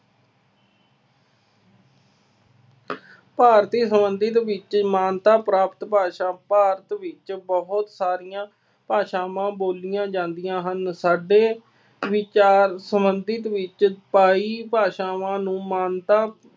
ਭਾਰਤੀ ਸੰਬੰਧਿਤ ਵਿੱਚ ਮਾਨਤਾ ਪ੍ਰਾਪਤ ਭਾਸ਼ਾ ਭਾਰਤ ਵਿੱਚ ਬਹੁਤ ਸਾਰੀਆਂ ਭਾਸ਼ਾਵਾਂ ਬੋਲੀਆਂ ਜਾਂਦੀਆਂ ਹਨ। ਸਾਡੇ ਵਿਚਾਰ ਸੰਬੰਧਿਤ ਵਿੱਚ ਬਾਈ ਭਾਸ਼ਾਵਾਂ ਨੂੰ ਮਾਨਤਾ